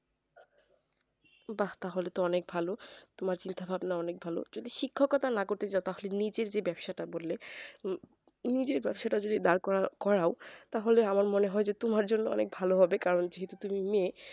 বাঃ তাহলে তো অনেক ভালো তোমার চিন্তাভাবনা অনেক ভালো যদি শিক্ষাকতার না করতে চাও তাহলে নিজের যে ব্যাবসাটা বললে উহ নিজের ব্যাবসাটা টা যদি দাঁড় করাও তাহলে আমার মনে হয় তোমার জন্যে অনেক ভালো হবে কারণ যেহেতু তুমি মেয়ে